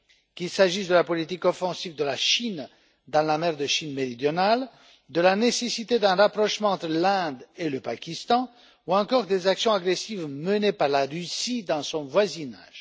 Qu'il s'agisse de la politique offensive de la Chine dans la mer de Chine méridionale, de la nécessité d'un rapprochement entre l'Inde et le Pakistan, ou encore des actions agressives menées par la Russie dans son voisinage.